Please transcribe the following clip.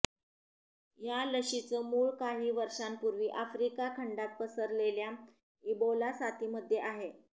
या लशीचं मूळ काही वर्षांपूर्वी आफ्रिका खंडात पसरलेल्या इबोला साथीमध्ये आहे